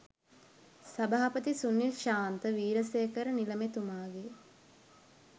සභාපති සුනිල් ශාන්ත වීරසේකර නිලමේතුමාගේ